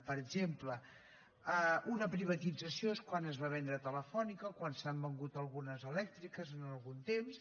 per exemple una privatització és quan es va vendre telefònica quan s’han venut algunes elèctriques en algun temps